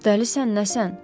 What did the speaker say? Dəlisən nəsən?